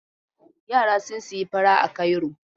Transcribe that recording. Yara sun sayi fura a Cairo